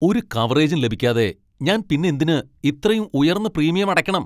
ഒരു കവറേജും ലഭിക്കാതെ ഞാൻ പിന്നെന്തിന് ഇത്രയും ഉയർന്ന പ്രീമിയം അടക്കണം?